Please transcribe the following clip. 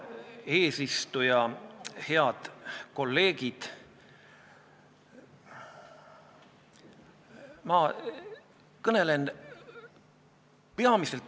Viktoria toetab positiivset lõimumist ja kinnitas, et tööandjate mure seisneb selles, et riik ei paku keeleõppeks piisavalt võimalusi ja keeleõppekursuste järjekorrad on pikad, õpetajaid ei jätku.